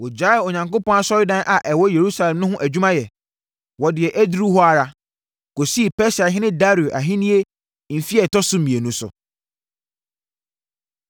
Ɛberɛ a wɔkenkan saa krataa a ɛfiri ɔhene Artasasta nkyɛn kyerɛɛ Rehum, Simsai ne wɔn mfɛfoɔ no, wɔyɛɛ ntɛm kɔɔ Yerusalem kɔhyɛɛ Yudafoɔ, ma wɔgyaee dansie no.